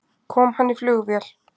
Kom hann í flugvél?